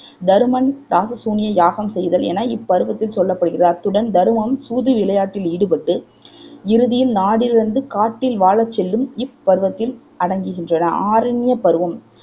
தருமன் இராசசூனிய யாகம் செய்தல் என இப்பருவத்தில் சொல்லப்படுகிறது அத்துடன் தருமன் சூதுவிளையாட்டில் ஈடுபட்டு இறுதியில் நாடிழந்து காட்டில் வாழச் செல்லும் இப்பருவத்தில் அடங்குகின்றன ஆரண்ய பருவம்